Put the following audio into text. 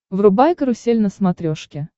врубай карусель на смотрешке